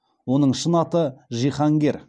оның шын аты жиһангер